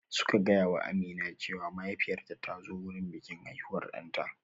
Suka gaya wa Amina cewa mahaifiyarta ta zo wurin bikin haihuwar ɗanta